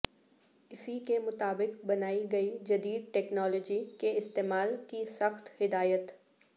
اسی کے مطابق بنائی گئی جدید ٹیکنالوجی کے استعمال کی سخت ہدایت